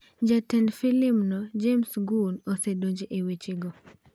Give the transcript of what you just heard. Jatend filimno, James Gunn, osedonjo e wechego.